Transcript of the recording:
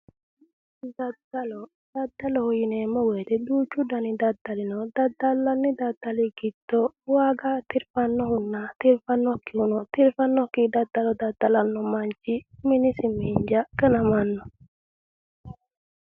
Daddalo daddaloho yineemmo woyiite duuchu dani daddali no daddallanni daddali giddo waaga tirfannohunna tirfannokkihu no yaate tirfannokki daddalo daddalanno manchi minisi miinja ganamanno